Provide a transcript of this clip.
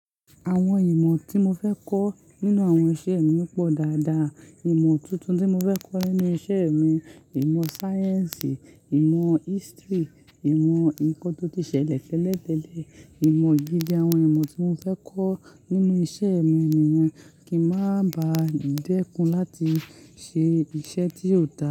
Àwọn ìmọ̀ tí mo fẹ́ kọ́ nínú àwọn iṣẹ́ mi pọ̀ dáadáa. Ìmọ̀ tuntun tí mo fẹ́ kọ́ nínú iṣẹ́ mi, ìmọ̀ sáyẹ́ǹsì, ìmọ̀ history, ìmọ̀ nǹkan tó ti ṣẹlẹ̀ tẹ́lẹ̀ tẹ́lẹ̀, ìmọ̀ ìdíje àwọn ìmọ̀ tí mo fẹ́ kọ́ nínú iṣẹ́ mi nìyen kì í má ba dẹ́kun láti ṣe iṣẹ́ tí yóò dà.